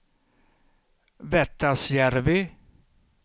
Vettasjärvi